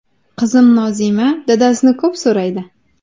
Qizim Nozima dadasini ko‘p so‘raydi.